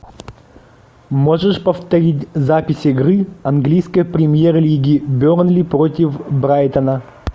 можешь повторить запись игры английской премьер лиги бернли против брайтона